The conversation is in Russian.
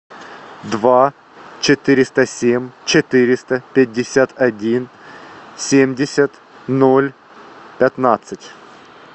два четыреста семь четыреста пятьдесят один семьдесят ноль пятнадцать